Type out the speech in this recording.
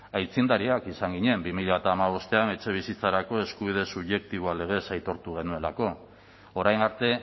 aitzindariak izan ginen bi mila hamabostean etxebizitzarako eskubide subjektiboa legez aitortu genuelako orain arte